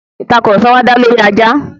Ìtàkurọ̀sọ wá dá lọri ajá.